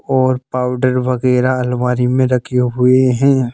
और पाउडर वगैरह अलवारी में रखे हुए हैं।